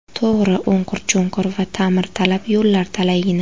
To‘g‘ri, o‘nqir-cho‘nqir va ta’mirtalab yo‘llar talaygina.